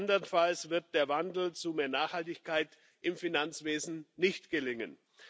Andernfalls wird der Wandel zu mehr Nachhaltigkeit im Finanzwesen nicht gelingen.